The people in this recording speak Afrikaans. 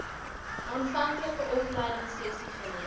aanvanklike opleidingsessies geleer